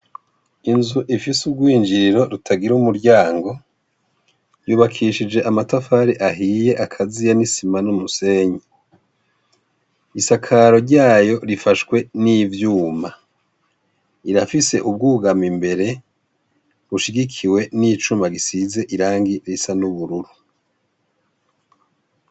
Inzu ifise ugwinjiriro rutagira umuryango, yubakishije amatafari ahiye akaziye n'isima n'umusenyi. Isakaro ryayo rifashwe n'ivyuma. Irafise ubwugamo imbere ,rushigikiwe n'icuma gisize irangi risa n'ubururu.